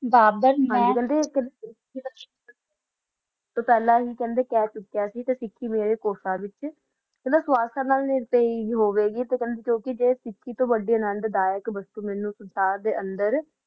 ਬਾਬਰ ਨਾ ਮਾ ਹਨ ਜੀ ਤੁਸੀਂ ਫ਼ਲਾ ਆ ਦਸ ਰਹਾ ਜਾ ਸਿਖੀ ਵਾਲਾ ਜਰਾ ਚੋਟੀ ਤਾ ਵਾਦੀ ਨੰਦ ਦਾ ਆ ਦਰ